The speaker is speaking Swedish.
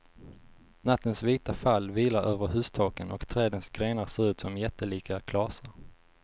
Nattens vita fall vilar över hustaken och trädens grenar ser ut som jättelika klasar.